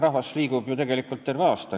Rahvas liigub ju tegelikult terve aasta vältel.